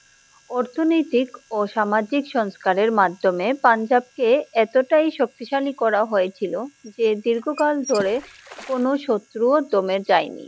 অর্থনীতিক ও সামাজিক সংস্কারে মাধ্যমে পাঞ্জাব কে এতো টাই শক্তিশালী করা হয়ে ছিলো, যে দীর্ঘকাল ধরে কোন শত্রু ও দমে যায়নি ।